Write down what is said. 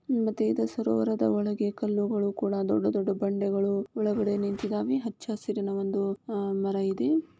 ಮತ್ತೆ ಇದು ಸರೋವರದ ಒಳಗೆ ಕಲ್ಲುಗಳು ಕೂಡ ದೊಡ್ಡ ದೊಡ್ಡ ಬಂಡೆಗಳು ಒಳಗಡೆ ನಿಂತಿದಾವೆ ಹಚ್ಚ ಹಸಿರಿನ ಒಂದು ಹಾ ಮಾರ ಇದೆ.